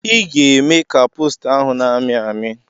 I ga-eme ka posta ahụ na-amị amị!